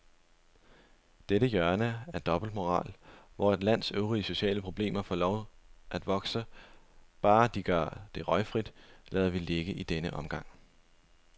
Dette hjørne af dobbeltmoral, hvor et lands øvrige sociale problemer får lov at vokse, bare de gør det røgfrit, lader vi ligge i denne omgang.